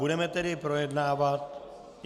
Budeme tedy projednávat...